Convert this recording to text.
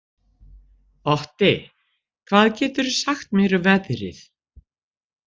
Otti, hvað geturðu sagt mér um veðrið?